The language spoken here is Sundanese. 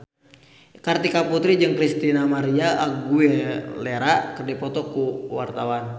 Kartika Putri jeung Christina María Aguilera keur dipoto ku wartawan